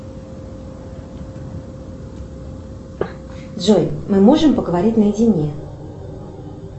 джой мы можем поговорить наедине